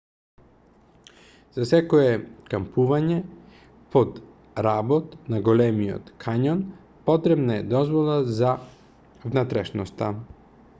за секое кампување под работ на големиот кањон потребна е дозвола за внатрешноста